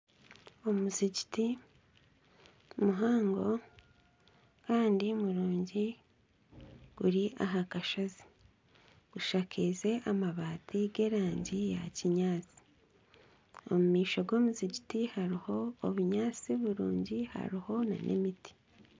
Omuzigiti muhango kandi murungi guri aha kashozi gushakaize amabati g'erangi ya kinyaatsi omu maisho g'omuzigiti hariho obunyaatsi burungi hariho nana emiti